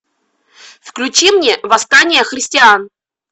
включи мне восстание христиан